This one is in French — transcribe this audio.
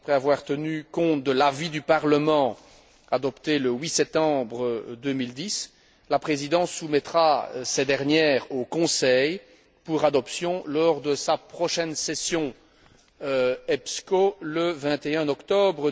Après avoir tenu compte de l'avis du Parlement, adopté le 8 septembre 2010, la Présidence soumettra ces dernières au Conseil pour adoption lors de sa prochaine session EPSCO le 21 octobre